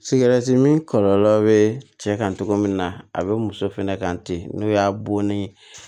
Sigɛrɛti mi kɔlɔlɔ be cɛ kan cogo min na a be muso fɛnɛ kan ten n'o y'a bonni